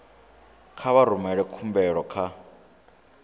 kha vha rumele khumbelo kha